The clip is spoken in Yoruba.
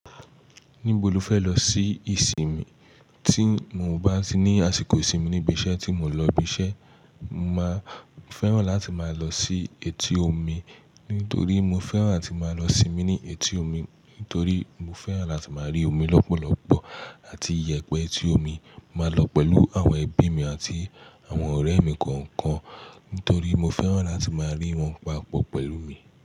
Níbo lo fẹ́ lọ sí ìsinmi tí mo bá ní àsìkò ìsinmi níbi iṣẹ́ tí mo ń lọ ibi iṣẹ́. Mo máa fẹ́ràn láti máa lọ sí etí omi nítorí mo fẹ́ràn áti máa lọ sinmi ní etí omi, nítorí mo fẹ́ràn láti máa rí omi lọ́pọ̀lọ́pọ̀ àti iyẹ̀pẹ̀ etí omi. Maa lọ pẹ̀lú àwọn ẹbí mi àti àwọn ọrẹ mi kọọkan, nítorí mo fẹ́ràn láti máa rí wọn papọ pẹ̀lú mi.